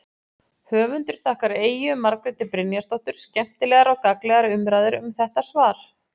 Höfundur þakkar Eyju Margréti Brynjarsdóttur skemmtilegar og gagnlegar umræður um þetta svar.